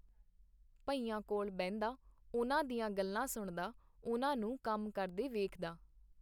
ਭਈਆਂ ਕੋਲ ਬਹਿੰਦਾ, ਉਹਨਾਂ ਦੀਆਂ ਗੱਲਾਂ ਸੁਣਦਾ, ਉਹਨਾਂ ਨੂੰ ਕੰਮ ਕਰਦੇ ਵੇਖਦਾ.